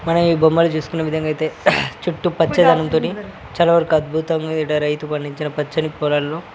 మనం ఈ బొమ్మలు చూసుకునే విధంగా అయితే చుట్టూ పచ్చదనంతోని చాలా వరకు అద్భుతంగా ఈడ రైతు పండించిన పచ్చని పొలాలో